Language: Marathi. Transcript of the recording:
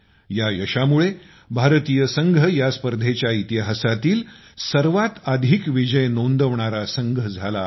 या यशामुळे भारतीय संघ या स्पर्धेच्या इतिहासातील सर्वात अधिक विजय नोंदवणारा संघ झाला आहे